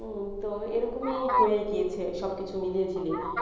উম তো এরকমই হয়ে গিয়েছে সব কিছু মিলিয়ে ঝিলিয়ে,